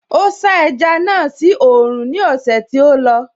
Ó sá ẹja náà sí oòrùn ní ọ̀sẹ̀ tí ó lọ